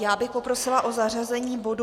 Já bych poprosila o zařazení bodu